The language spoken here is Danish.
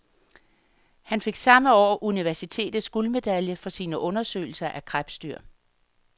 Han fik samme år universitets guldmedalje for sine undersøgelser af krebsdyr.